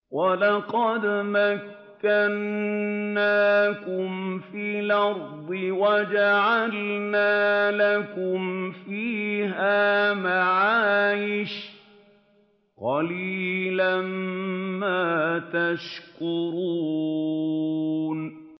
وَلَقَدْ مَكَّنَّاكُمْ فِي الْأَرْضِ وَجَعَلْنَا لَكُمْ فِيهَا مَعَايِشَ ۗ قَلِيلًا مَّا تَشْكُرُونَ